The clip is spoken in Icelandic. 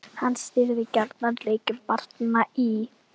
Hann stýrði gjarnan leikjum barnanna í